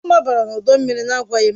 Ọ mabara n'ọdọ mmiri na-agwaghị m.